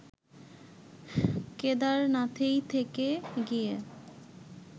কেদারনাথেই থেকে গিয়ে